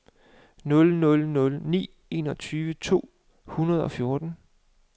nul nul nul ni enogtyve to hundrede og fjorten